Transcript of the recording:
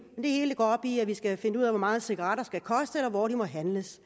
hele går op i at vi skal finde ud af hvor meget cigaretter skal koste eller hvor de må handles